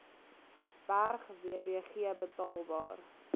berg wbg betaalbaar